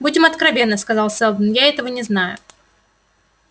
будем откровенны сказал сэлдон я этого не знаю